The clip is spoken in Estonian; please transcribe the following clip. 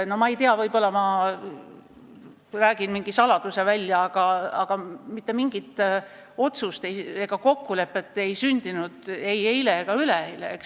No ma ei tea, võib-olla ma räägin mingi saladuse välja, aga mitte mingit otsust ega kokkulepet ei sündinud ei eile ega üleeile.